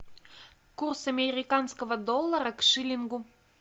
курс американского доллара к шиллингу